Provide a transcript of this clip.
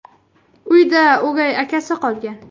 Uyda o‘gay akasi qolgan.